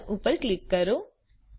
Don ઉપર click કરો